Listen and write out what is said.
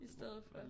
I stedet for